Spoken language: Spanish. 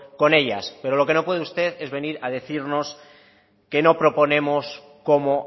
con ellas pero lo que no puede usted es venir a decirnos que no proponemos cómo